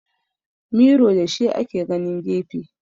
Miro da shi ake ganin gefe